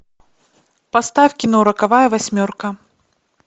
поставь кино роковая восьмерка